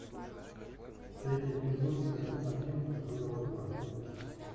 третий эпизод сезон один журова два